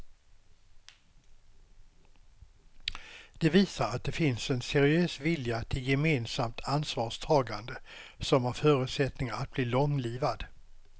Det visar att det finns en seriös vilja till gemensamt ansvarstagande som har förutsättningar att bli långlivad.